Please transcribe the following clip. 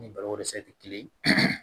Ni baloko dɛsɛ tɛ kelen ye